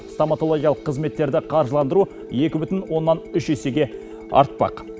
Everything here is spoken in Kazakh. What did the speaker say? стоматологиялық қызметтерді қаржыландыру екі бүтін оннан үш есеге артпақ